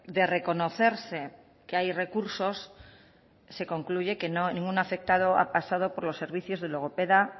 de reconocerse que hay recursos se concluye que ningún afectado ha pasado por los servicios de logopeda